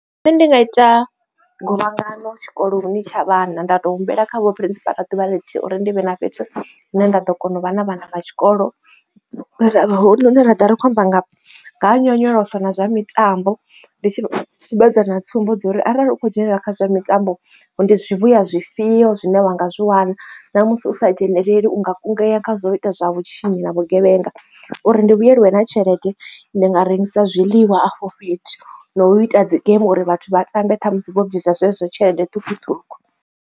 Nṋe ndi nga ita guvhangano tshikoloni tsha vhana nda to humbela kha vho Principal ḓuvha ḽithihi uri ndi vhe na fhethu hune nda ḓo kona u vha na vhana vha tshikolo ra vha ri khou amba nga ha nyonyoloso na zwa mitambo ndi tshi vha sumbedza na tsumbo zwori arali u kho dzhenelela kha zwa mitambo ndi zwivhuya zwifhio zwine vha nga zwi wana ṋa musi u sa dzheneleli u nga kungea kha zwa u ita zwa vhutshinyi na vhugevhenga uri ndi vhuyeliwe nga tshelede ndi nga rengisa zwiḽiwa afho fhethu na u ita dzi game uri vhathu vha tambe khamusi vho bvisa zwezwo tshelede ṱhukhuṱhukhu.